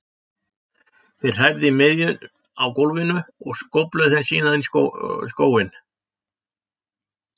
Þeir hrærðu í miðunum á gólfinu og skófluðu þeim síðan í skóinn.